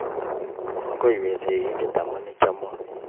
Kongoi we sigindet amu ichomon